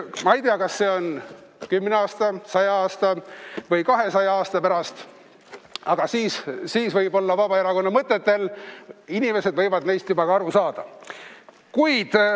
Ma ei tea, kas see on 10 aasta, 100 aasta või 200 aasta pärast, aga siis võib-olla inimesed võivad juba ka neist Vabaerakonna mõtetest aru saada.